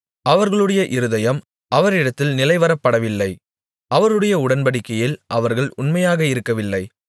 அவர்களுடைய இருதயம் அவரிடத்தில் நிலைவரப்படவில்லை அவருடைய உடன்படிக்கையில் அவர்கள் உண்மையாக இருக்கவில்லை